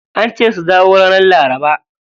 Ance su dawo ranar laraba.